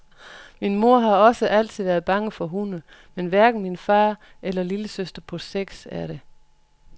Min mor har også altid været bange for hunde, men hverken min far eller lillesøster på seks år er det.